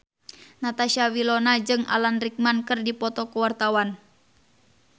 Natasha Wilona jeung Alan Rickman keur dipoto ku wartawan